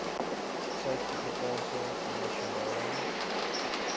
suid afrikaanse nasionale